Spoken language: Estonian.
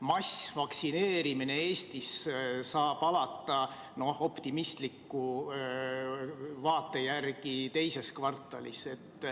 Massvaktsineerimine Eestis saab alata optimistliku stsenaariumi järgi teises kvartalis.